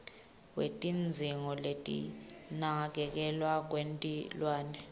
kwetidzingo tekunakekelwa kwetilwane